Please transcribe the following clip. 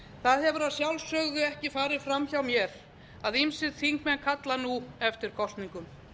það hefur að sjálfsögðu ekki farið fram hjá mér að ýmsir þingmenn kalla nú eftir kosningum